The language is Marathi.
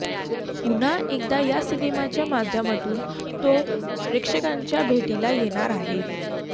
पुन्हा एकदा या सिनेमाच्या माध्यमातून तो प्रेक्षकांच्या भेटीला येणार आहे